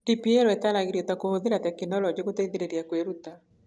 DPL ĩtaaragĩrio ta "kũũhũthĩra tekinoronjĩ gũteithĩrĩria kwĩruta